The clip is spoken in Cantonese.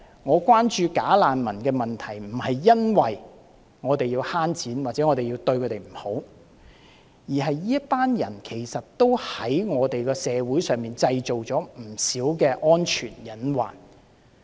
我關注假難民的問題並非因為我們要節省金錢，又或者要苛待他們，而是這群人其實在我們社會中製造了不少安全隱患。